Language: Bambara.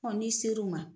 n'i ser'u ma